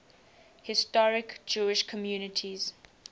historic jewish communities